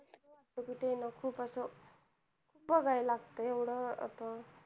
हो न, खूप असं बघाया लागतंय एवढं असं